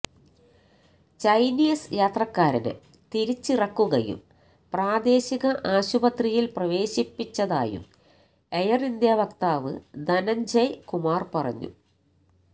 Chinese യാത്രക്കാരനെ തിരിച്ചിറക്കുകയും പ്രാദേശിക ആശുപത്രിയില് പ്രവേശിപ്പിച്ചതായും എയര് ഇന്ത്യ വക്താവ് ധനഞ്ജയ് കുമാര് പറഞ്ഞു